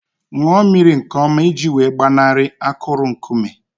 Ṅụọ mmiri nke ọma iji wee gbanarị akụrụ nkume